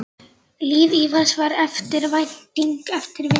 Líf Ívars var eftirvænting eftir vinnu.